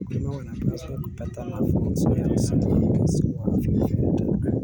Wakulima wanapaswa kupata mafunzo ya usimamizi wa kifedha.